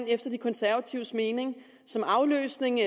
efter de konservatives mening som afløsning